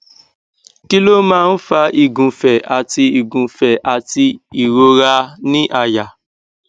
kí ló máa ń fa igunfe àti igunfe àti ìrora ni àyà